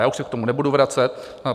Já už se k tomu nebudu vracet.